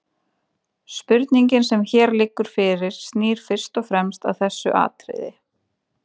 spurningin sem hér liggur fyrir snýr fyrst og fremst að þessu atriði